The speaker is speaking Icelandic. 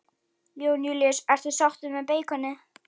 Jón Júlíus: Ertu sáttur með beikonið?